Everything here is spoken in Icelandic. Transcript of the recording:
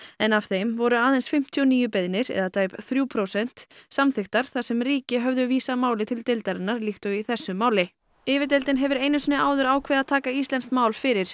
en af þeim voru aðeins fimmtíu og níu beiðnir eða tæp þrjú prósent samþykktar þar sem ríki höfðu vísað máli til deildarinnar líkt og í þessu máli yfirdeildin hefur einu sinni áður ákveðið að taka íslenskt mál fyrir